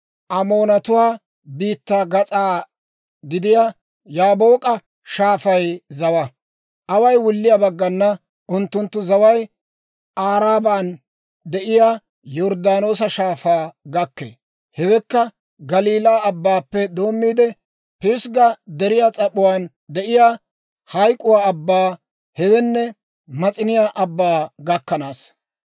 Away wulliyaa baggana, unttunttu zaway Aaraban de'iyaa Yorddaanoosa Shaafaa gakkee; hewekka Galiilaa Abbaappe doommiide Pisgga Deriyaa s'ap'uwaan de'iyaa Hayk'k'uwaa Abbaa, hewenne Mas'iniyaa Abbaa gakkanaasa.